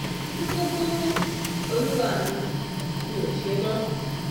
ní kúkúrú olúwa mi mi ò ṣe mọ́ o